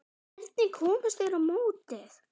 Hvernig komust þeir á mótið?